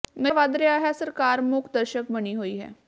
ਨਸ਼ਾ ਵੱਧ ਰਿਹਾ ਹੈ ਸਰਕਾਰ ਮੂਕਦਰਸ਼ਕ ਬਣੀ ਹੋਈ ਹੈ